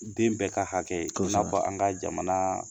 Den bɛɛ ka hakɛ ye. Kosɛbɛ. I n'a fɔ an ka jamana